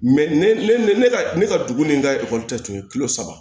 ne ka ne ka dugu ni n ka ekɔli ta tun ye kilo saba